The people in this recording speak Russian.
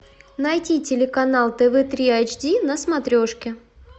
найти телеканал тв три эйч ди на смотрешке